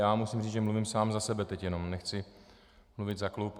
Já musím říct, že mluvím sám za sebe teď jenom, nechci mluvit za klub.